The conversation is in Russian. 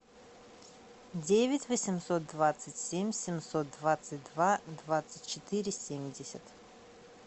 девять восемьсот двадцать семь семьсот двадцать два двадцать четыре семьдесят